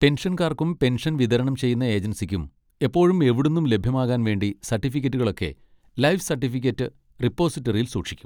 പെൻഷൻകാർക്കും pension വിതരണം ചെയ്യുന്ന ഏജൻസിക്കും എപ്പോഴും എവിടുന്നും ലഭ്യമാകാൻ വേണ്ടി സർട്ടിഫിക്കറ്റുകളൊക്കെ ലൈഫ് സർട്ടിഫിക്കറ്റ് റിപ്പോസിറ്ററിയിൽ സൂക്ഷിക്കും.